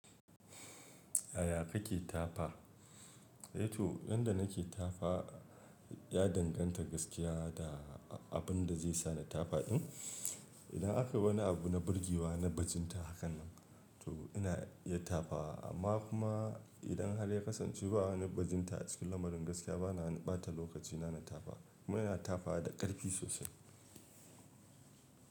Yaya kake tafa? Eh to, yanda nake tafa ya danganta gaskiya da abun da zai sa ni tafa din. Idan akai wani abu na burgewa na bajinta hakan nan, to ina iya tafa amma kuma idan har ya kasance ba wani bajinta a cikin lamarin gaskiya bana wani ɓata lokacina na tafa. Kuma ina tafa da ƙarfi sosai.